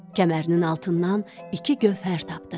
Kəmərinin altından iki gövhər tapdı.